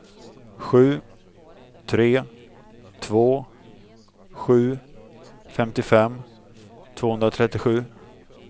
sju tre två sju femtiofem tvåhundratrettiosju